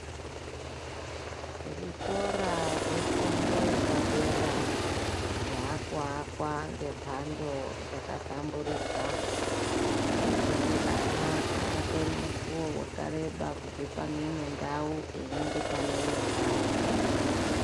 Zvikora zvefundo yepadera zvaakuakwa ngembando dzakahlamburika. Zvekuti ana haatori mukuwo wakareba kubve paneino ndau kuenda paneino ndau.